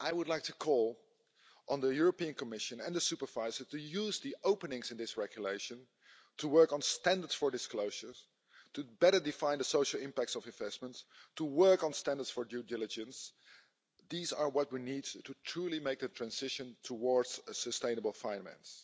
I would like to call on the European Commission and the supervisor to use the openings in this regulation to work on standards for disclosures, to better define the social impacts of investments, to work on standards for due diligence these are what we need to truly make the transition towards sustainable finance.